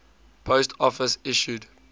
post office issued